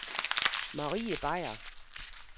Marie Beyer